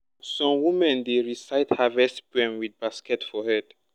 some women dey recite harvest poem with basket for head.